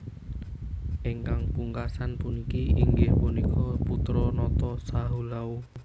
Ingkang pungkasan puniki inggih punika putra nata Sahulau